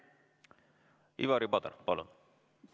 Ivari Padar, palun!